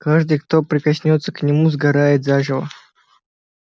каждый кто прикоснётся к нему сгорает заживо